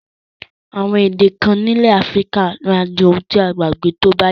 Àwon èdè kan nílẹ̀ Africa máa di oun ti a gbàgbé tóbáyá